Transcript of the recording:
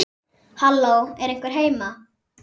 Halló, er einhver heima?